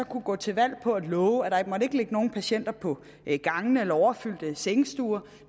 kunne gå til valg på at love at der ikke skulle ligge nogen patienter på gangene at overfyldte sengestuer